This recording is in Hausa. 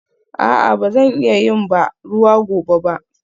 A'a ba zan iya yin ban ruwa gobe ba?